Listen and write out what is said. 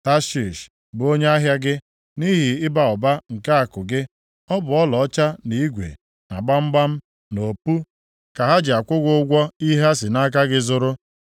“ ‘Tashish bụ onye ahịa gị, nʼihi ịba ụba nke akụ gị. Ọ bụ ọlaọcha na igwe, na gbamgbam, na opu, ka ha ji akwụ gị ụgwọ ihe ha si nʼaka gị zụrụ.